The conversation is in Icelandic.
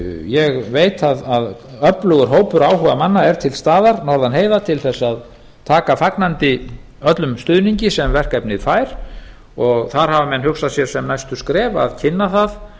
ég veit að öflugur hópur áhugamanna er til staðar norðan heiða til þess að taka fagnandi öllum stuðningi sem verkefnið fær og þar hafa menn hugsað sér sem næstu skref að kynna það